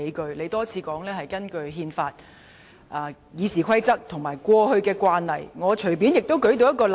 主席多次表示根據《基本法》、《議事規則》和過去的慣例作決定，我隨便也可舉出一個例子。